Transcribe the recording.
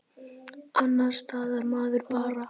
Annars staðnar maður bara.